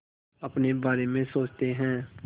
अपने बारे में सोचते हैं